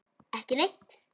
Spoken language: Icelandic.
Ekki neitt